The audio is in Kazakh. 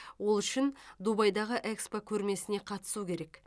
ол үшін дубайдағы экспо көрмесіне қатысу керек